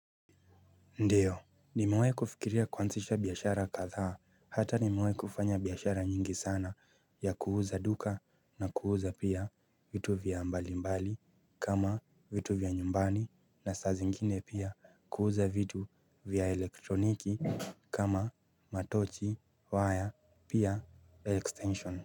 Ndio, nimewahi kufikiria kuanzisha biashara kathaa, hata nimewahi kufanya biashara nyingi sana ya kuuza duka na kuuza pia vitu vya mbali mbali kama vitu vya nyumbani na sa zingine pia kuuza vitu vya elektroniki kama matochi, wire, pia extension.